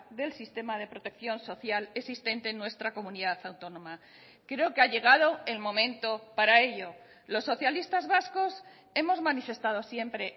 del sistema de protección social existente en nuestra comunidad autónoma creo que ha llegado el momento para ello los socialistas vascos hemos manifestado siempre